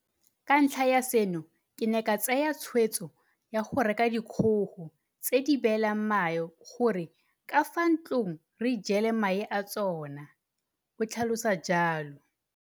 Ka ntlha ya seno ke ne ka tsaya tshweetso ya go reka dikgogo tse di beelang mae gore ka fa ntlong re ijele mae a tsona, o tlhalosa jalo.